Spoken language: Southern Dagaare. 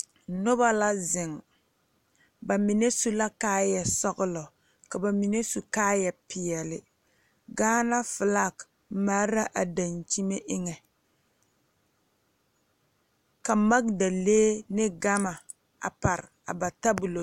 Nobɔ la zeŋ ba mine su la kaayɛ sɔglɔ ka ba mine su kaayɛ peɛle gaana flak mare la a dankyime eŋɛ ka magdalee ne gama a pare a ba tabolɔ.